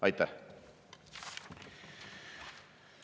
Aitäh!